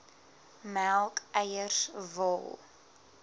melk eiers wol